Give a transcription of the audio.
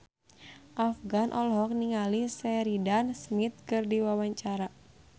Afgan olohok ningali Sheridan Smith keur diwawancara